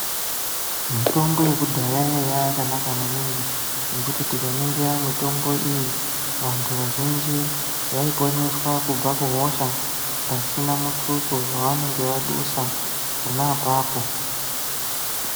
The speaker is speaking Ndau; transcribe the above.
Mitombo yekudhaya yaiya yakanaka maningi, ngekuti tikaningira mitombo iyi, vantu vazhinji, vaiponeswa kubva kuhosha, pasina muthuso wavanenge vadusa, pona apapo.